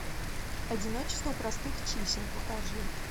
одиночество простых чисел покажи